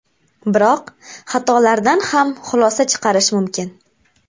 Biroq xatolardan ham xulosa chiqarish mumkin.